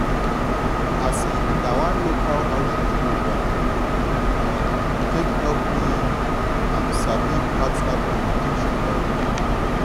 um na so one local outreach program um take help me um sabi partner communication well well